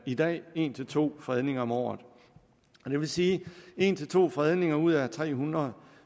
i dag en to fredninger om året det vil sige en to fredninger ud af tre hundrede